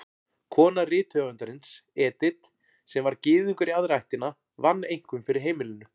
Kona rithöfundarins, Edith, sem var Gyðingur í aðra ættina, vann einkum fyrir heimilinu.